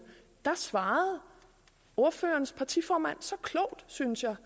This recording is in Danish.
da svarede ordførerens partiformand så klogt synes jeg